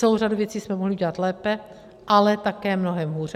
Celou řadu věcí jsme mohli udělat lépe, ale také mnohem hůře.